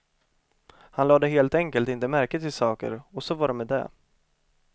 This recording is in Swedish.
Han lade helt enkelt inte märke till saker, och så var det med det.